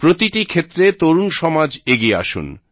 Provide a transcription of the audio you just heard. প্রতিটি ক্ষেত্রে তরুণ সমাজ এগিয়ে আসুন